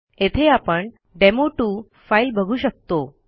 येथे आपण demo 2 file बघू शकतो